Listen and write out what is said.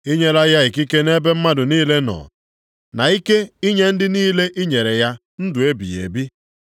I nyela ya ikike nʼebe mmadụ niile nọ, na ike inye ndị niile i nyere ya ndụ ebighị ebi.